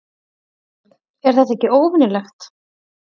Þorbjörn: Er þetta ekki óvenjulegt?